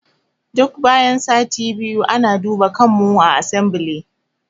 Duk bayan sati biyu ana duba kanmu a asambile